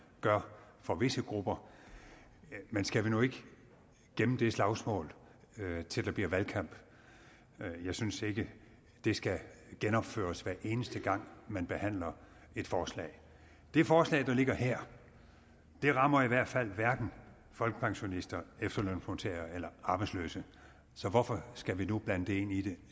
gør for visse grupper men skal vi nu ikke gemme det slagsmål til der bliver valgkamp jeg synes ikke det skal genopføres hver eneste gang man behandler et forslag det forslag der ligger her rammer i hvert fald hverken folkepensionister efterlønsmodtagere eller arbejdsløse så hvorfor skal vi nu blande dem ind i det